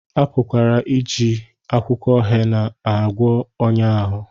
A pụkwara iji akwụkwọ hena na-agwọ ọnya ahụ